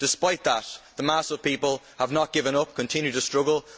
Despite that, the mass of people have not given up they continue to struggle.